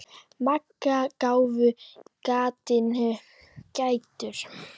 Magga gáfu gatinu gætur.